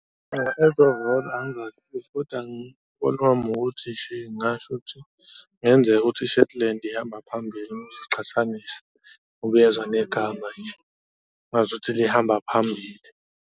Ezovolo angizazisisi koda umbono wami ukuthi ngasho ukuthi kungenzeka ukuthi i-shetland ihamba phambili uma usuziqhathanisa ngoba uyezwa negama nje ngazuthi lihamba phambili.